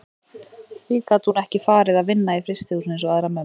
Því gat hún ekki farið að vinna í frystihúsinu eins og aðrar mömmur?